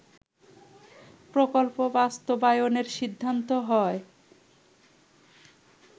প্রকল্প বাস্তবায়নের সিদ্ধান্ত হয়